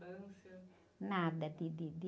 de, de, de...